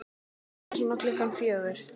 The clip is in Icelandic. Bara svona klukkan fjögur.